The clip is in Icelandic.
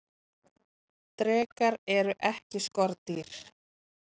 drekar eru ekki skordýr